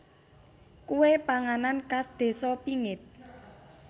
Kue panganan khas desa pingit